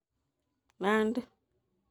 Nandi